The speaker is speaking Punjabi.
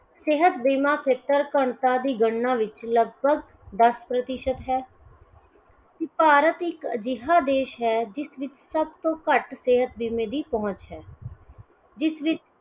ਸਿਹਤ ਬੀਮਾ ਖੇਤਰ ਘਣਤਾ ਦੀ ਗਣਨਾ ਵਿੱਚ ਲਗਭਗ ਦੱਸ ਪ੍ਰਤੀਸ਼ਤ ਹੈ। ਭਾਰਤ ਇੱਕ ਅਜਿਹਾ ਦੇਸ਼ ਹੈ ਜਿਸ ਵਿਚ ਸਭ ਤੋਂ ਘੱਟ ਸਿਹਤ ਬੀਮੇ ਦੀ ਪਹੁੰਚ ਹੈ। ਜਿਸ ਵਿੱਚ